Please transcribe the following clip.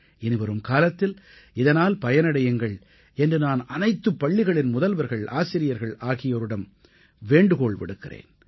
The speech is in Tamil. இனிவரும் காலத்தில் இதனால் பயனடையுங்கள் என்று நான் அனைத்துப் பள்ளிகளின் முதல்வர்கள் ஆசிரியர்கள் ஆகியோரிடம் வேண்டுகோள் விடுக்கிறேன்